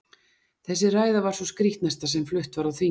Þessi ræða var sú skrítnasta sem flutt var á þingi um